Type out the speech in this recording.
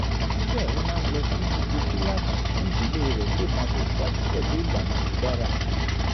síbẹ̀ ó máa ń lọ sí gbogbo kíláàsì kí ìdílé rẹ̀ lè máa tẹ̀síwájú pẹ̀lú ìlànà tó dára